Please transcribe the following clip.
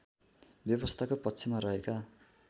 व्यवस्थाको पक्षमा रहेका